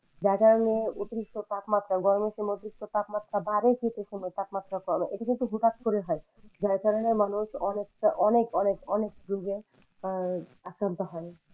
যার কারণে অতিরিক্ত তাপমাত্রা গরমের সময় অতিরিক্ত তাপমাত্রা বাড়ে শীতের সময় তাপমাত্রা কমে এটা কিন্তু হুট্ হাট করে হয় যার কারণে মানুষ অনেকটা অনেক অনেক অনেক রোগে আহ আক্রান্ত হয়।